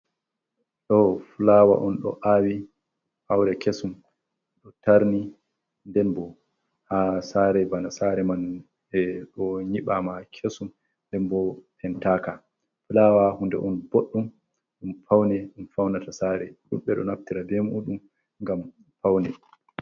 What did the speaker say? Ɗo fulawa on ɗo awi aure kesum, ɗo tarni den bo ha sare bana sare man ɓeɗo nyibama kesum nden bo pentaka, fulawa hunde on boɗɗum ɗum faune ɗum faunata sare, duɗɓe ɗo naftira be muɗum ngam paune.